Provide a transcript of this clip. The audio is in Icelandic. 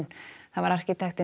það var arkitektinn